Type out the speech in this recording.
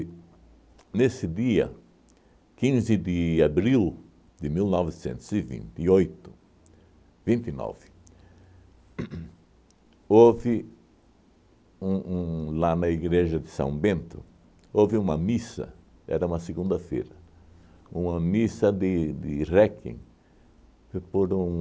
nesse dia, quinze de abril de mil novecentos e vinte e oito, vinte e nove uhn uhn, houve um um lá na igreja de São Bento, houve uma missa, era uma segunda-feira, uma missa de de réquiem por um...